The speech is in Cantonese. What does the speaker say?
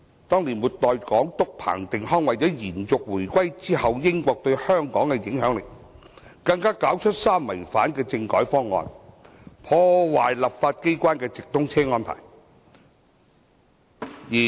當年末代港督彭定康為了延續回歸後英國對香港的影響力，更搞出"三違反"的政改方案，破壞立法機關的直通車安排。